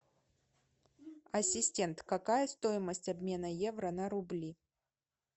ассистент какая стоимость обмена евро на рубли